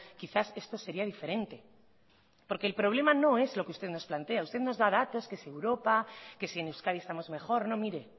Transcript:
quizás esto sería diferente porque el problema no es lo que usted nos plantea usted nos da datos que si europa que si en euskadi estamos mejor no mire